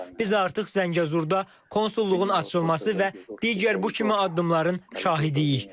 Biz artıq Zəngəzurda konsulluğun açılması və digər bu kimi addımların şahidiyik.